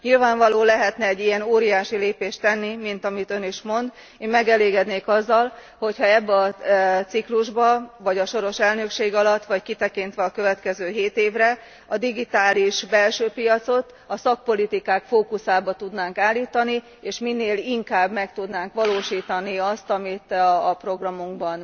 Nyilvánvaló lehetne egy ilyen óriási lépést tenni, mint amit Ön is mond, én megelégednék azzal, hogy ha ebben a ciklusban vagy a soros elnökség alatt, vagy kitekintve a következő hét évre, a digitális belső piacot a szakpolitikák fókuszába tudnánk állítani, és minél inkább meg tudnánk valósítani azt, amit a programunkban